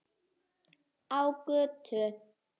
Á götu.